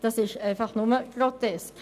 Das ist einfach nur grotesk.